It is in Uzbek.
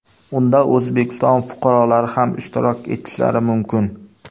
Unda O‘zbekiston fuqarolari ham ishtirok etishlari mumkin.